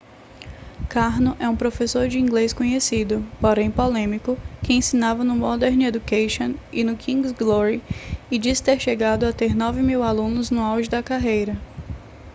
karno é um professor de inglês conhecido porém polêmico que ensinava no modern education e no king's glory e disse ter chegado a ter 9 mil alunos no auge da carreira